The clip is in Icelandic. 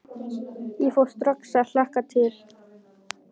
Ég fór strax að hlakka til.